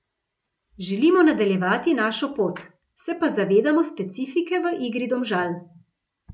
Želimo nadaljevati našo pot, se pa zavedamo specifike v igri Domžal.